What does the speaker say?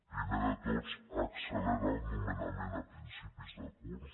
primer de tot accelerar el nomenament a principis de curs